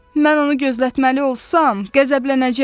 Mən onu gözlətməli olsam, qəzəblənəcək.